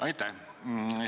Aitäh!